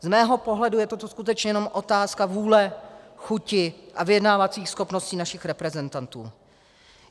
Z mého pohledu je toto skutečně jenom otázka vůle, chuti a vyjednávacích schopností našich reprezentantů.